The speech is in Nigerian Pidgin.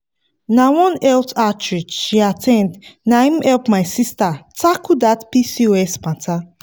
na one health outreach she at ten d na him help my sister tackle that pcos matter.